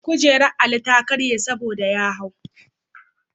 Kujerar Ali ta karye saboda ya hau.